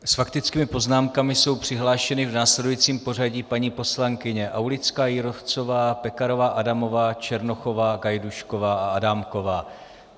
S faktickými poznámkami jsou přihlášeny v následujícím pořadí paní poslankyně Aulická Jírovcová, Pekarová Adamová, Černochová, Gajdůšková a Adámková.